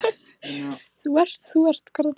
Þú ert, þú ert.